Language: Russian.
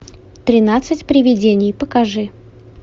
тринадцать привидений покажи